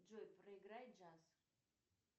джой проиграй джаз